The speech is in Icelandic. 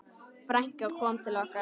Frænkan kom til okkar.